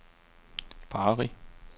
Bari